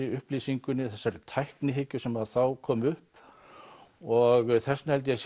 upplýsingunni þessari tæknihyggju sem þá kom upp og þess vegna held ég að